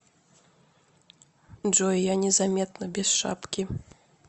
джой я незаметно без шапки